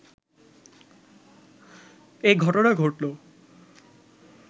এই ঘটনা ঘটল